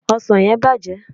osan yen bàjé